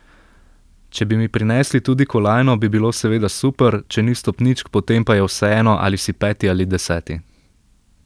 Če bi mi prinesli tudi kolajno, bi bilo seveda super, če ni stopničk, potem pa je vseeno, ali si peti ali deseti.